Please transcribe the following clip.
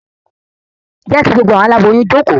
Je ki gbogbo awọn aláboyún joko!